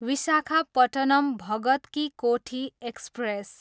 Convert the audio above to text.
Visakhapatnam, Bhagat ki Kothi express